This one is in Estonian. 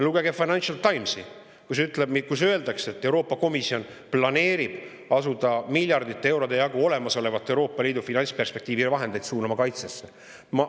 Lugege Financial Timesi, kus öeldakse, et Euroopa Komisjon planeerib asuda miljardite eurode jagu olemasolevaid Euroopa Liidu finantsperspektiivi vahendeid suunama kaitsesse.